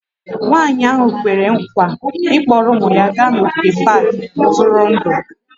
Nwanyị ahụ kwere nkwa ịkpọrọ ụmụ ya gaa n'ogige pak ntụrụndụ